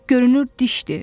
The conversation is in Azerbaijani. Bu görünür dişdir.